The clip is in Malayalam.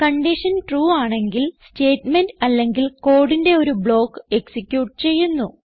കൺഡിഷൻ ട്രൂ ആണെങ്കിൽ സ്റ്റേറ്റ്മെന്റ് അല്ലെങ്കിൽ കോഡിന്റെ ഒരു ബ്ലോക്ക് എക്സിക്യൂട്ട് ചെയ്യുന്നു